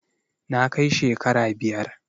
na kai shekara biyar